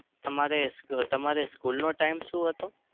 તમારે સ્ક તમારે school નો time શું હતો?